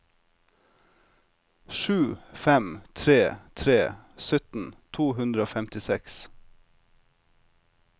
sju fem tre tre sytten to hundre og femtiseks